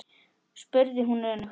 spurði hún önug.